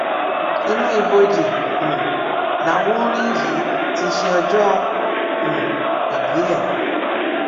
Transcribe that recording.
inú ibojì um lawùnrin yìí ti ṣe ọjọ um ìbí ẹ